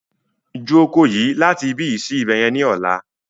Ju oko yí láti ibi yi sí ibẹ̀yẹn ni ọ̀la!